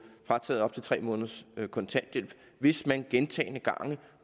frataget op til tre måneders kontanthjælp hvis man gentagne gange